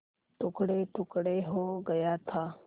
टुकड़ेटुकड़े हो गया था